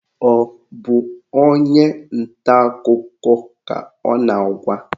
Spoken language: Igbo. Ọ bụ onye nta akụkọ ka ọ na-agwa?